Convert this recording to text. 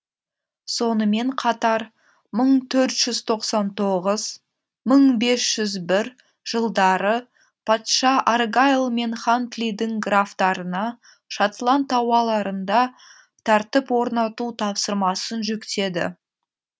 сонымен қатар мың төрт жүз тоқсан тоғыз мың бес жүз бір жылдары патша аргайл мен хантлидің графтарына шотланд тауаларында тәртіп орнату тапсырмасын жүктеді